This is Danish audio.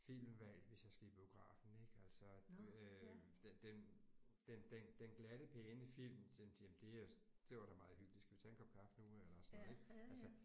Filmvalg hvis jeg skal i biografen ik altså øh den den den den glatte pæne film jamen det er det var da meget hyggeligt skal vi tage en kop kaffe nu eller sådan noget ik altså